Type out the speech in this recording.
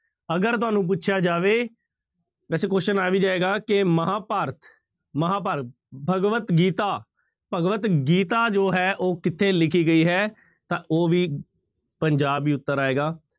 ਅਗਰ ਤੁਹਾਨੂੰ ਪੁੱਛਿਆ ਜਾਵੇ ਵੈਸੇ question ਆ ਵੀ ਜਾਏਗਾ ਕਿ ਮਹਾਂਭਾਰਤ ਮਹਾਂਭਾਰਤ ਭਗਵਤ ਗੀਤਾ, ਭਗਵਤ ਗੀਤਾ ਜੋ ਹੈ ਉਹ ਕਿੱਥੇ ਲਿਖੀ ਗਈ ਹੈ ਤਾਂ ਉਹ ਵੀ ਪੰਜਾਬ ਹੀ ਉੱਤਰ ਆਏਗਾ।